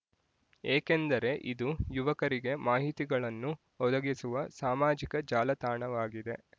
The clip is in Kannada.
ಏಕೆಂದರೆ ಇದು ಯುವಕರಿಗೆ ಮಾಹಿತಿಗಳನ್ನು ಒದಗಿಸುವ ಸಾಮಾಜಿಕ ಜಾಲತಾಣವಾಗಿದೆ